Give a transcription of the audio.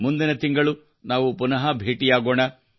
ಮುಂದಿನ ತಿಂಗಳು ನಾವು ಪುನಃ ಭೇಟಿಯಾಗೋಣ